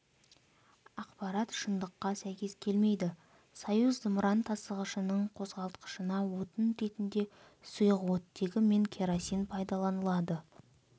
ақпарат шындыққа сәйкес келмейді союз зымыран тасығышының қозғалтқышына отын ретінде сұйық оттегі мен керосин пайдаланылады